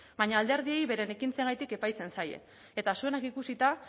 baina alderdiei beren ekintzengatik epaitzen zaie eta zuenak ikusita